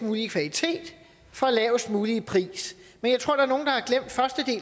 mulig kvalitet for lavest mulige pris men jeg tror der